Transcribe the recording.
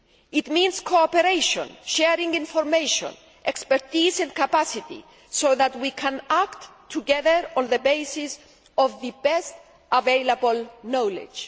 It means cooperation, sharing information, expertise and capacity so that we can act together on the basis of the best available knowledge.